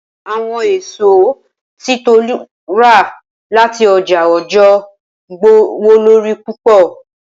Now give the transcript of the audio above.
Awọn eso ti Tolu rà lati ọjà Ọ̀jọọ gbówólórí púpọ̀.